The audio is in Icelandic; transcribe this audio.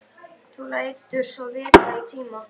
Þú lætur svo vita í tíma.